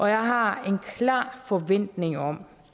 jeg har en klar forventning om